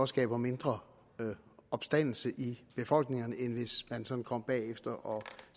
skaber mindre opstandelse i befolkningerne end hvis man sådan kommer bagefter og